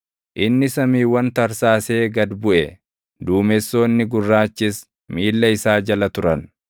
Inni samiiwwan tarsaasee gad buʼe; duumessoonni gurraachis miilla isaa jala turan.